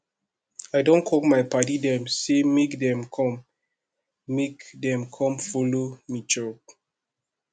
i don call my paddy dem sey make dem com make dem com folo me chop